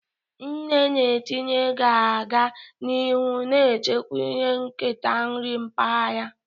Nne na-etinye ga-aga n'ihu na-echekwa ihe nketa nri mpaghara.